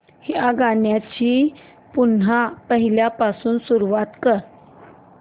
या गाण्या ची पुन्हा पहिल्यापासून सुरुवात कर